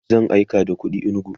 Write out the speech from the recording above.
zan aika da kuɗi inugu